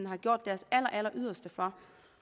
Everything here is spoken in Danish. har gjort deres alleryderste for